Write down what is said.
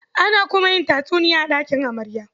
Ana kuma yin tatsuniya a ɗakin amarya.